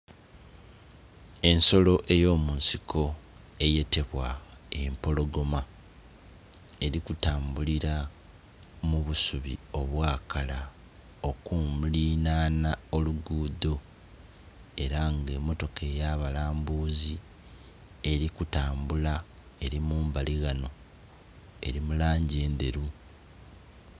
Ensolo ey'omusiko eyetebwa empologoma, eri kutambulira mu busubi obwakala okulilaana olugudho era nga emotoka ey'abalambuzi eri kutambula eri mbali ghano, eri mu langi ndheru.